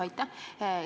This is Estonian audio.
Aitäh!